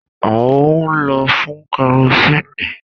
A n lo fún kerosínnì